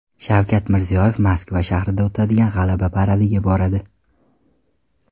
Shavkat Mirziyoyev Moskva shahrida o‘tadigan G‘alaba paradiga boradi.